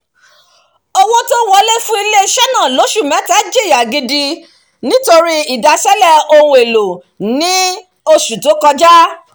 owó tó n wọlé fún ilé-iṣẹ́ náà lóṣù mẹ́ta jìyà gidi nítorí ìdaṣẹ́lẹ̀ ohun èlò ní oṣù tó kọjá